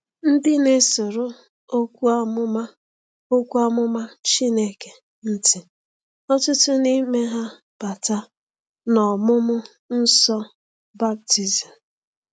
Ndị na-esoro Okwu Amụma Okwu Amụma Chineke ntị ọtụtụ n’ime ha bata n’ọmụmụ nsọ baptizim.